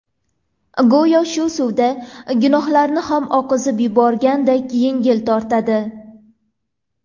Go‘yo shu suvda gunohlarini ham oqizib yuborganday yengil tortadi.